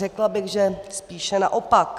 Řekla bych, že spíše naopak.